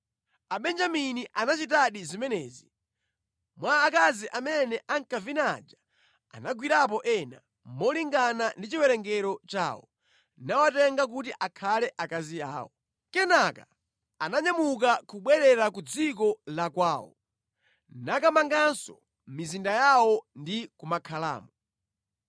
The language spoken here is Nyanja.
Abenjamini anachitadi zimenezi. Mwa akazi amene ankavina aja anagwirapo ena, malingana ndi chiwerengero chawo, nawatenga kuti akhale akazi awo. Kenaka ananyamuka kubwerera ku dziko la kwawo, nakamanganso mizinda yawo ndi kumakhalamo.